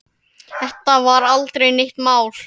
Þetta var aldrei neitt mál.